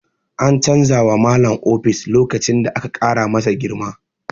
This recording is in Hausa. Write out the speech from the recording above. An canza wa Malam ofis lokacin da aka ƙara masa girma.